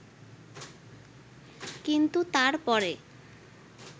কিন্তু তারপরে